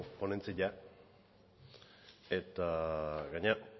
ponentzia eta gainera